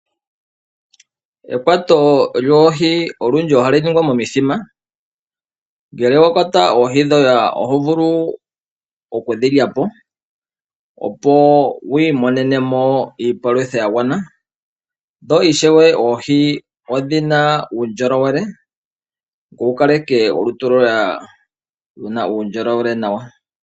Ekwato loohi olundji ohalu ningwa momithima. Ngele owa kwata oohi dhoye oho vulu oku dhi lya po, opo wu imonene mo iipalutha ya gwana. Dho ishewe oohi odhi na uundjolowele, opo wu kaleke olutu lwoye luna uundjolowele nawa.